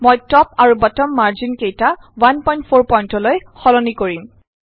মই টপ আৰু bottom margin কেইটা 14pt লৈ সলনি কৰিম